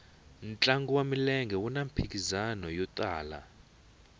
ntlangu wa milenge wuna mphikizano yo tala